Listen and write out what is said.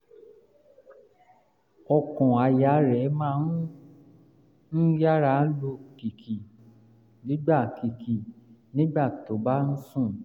ọkàn-àyà rẹ̀ máa ń yára lù kìkì nígbà kìkì nígbà tó bá ń sùn